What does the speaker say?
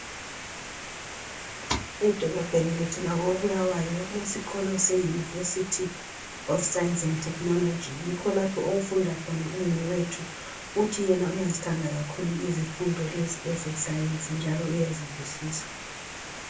Edolobheni lethu lako Bulawayo kule sikolo se yunivesithi of sayensi ende thekhinoloji. Yikho lapha okufunda khona umnewethu uthi uyazithanda izifundo ze sayensi njalo uyazizwisisa.